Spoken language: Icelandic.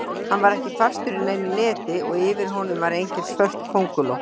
Hann var ekki fastur í neinu neti og yfir honum var engin svört könguló.